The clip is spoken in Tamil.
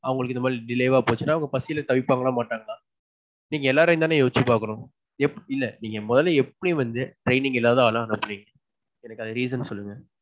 அவங்களுக்கு இத மாதிரி delay வா போச்சுன்னா அவங்க பசில தவிப்பாங்களா மாட்டாங்களா? நீங்க எல்லாரேயும் தானே யோசிச்சி பாக்கணும். எப்பிடி இல்ல. நீங்க மொதல்ல எப்பிடி வந்து training இல்லாத ஆள அனுப்புறீங்க. எனக்கு அது reason சொல்லுங்க.